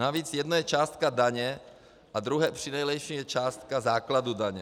Navíc jedno je částka daně a druhé přinejlepším je částka základu daně.